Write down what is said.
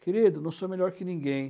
Querido, não sou melhor que ninguém.